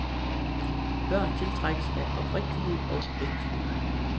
Børn tiltrækkes af oprigtighed og ægthed.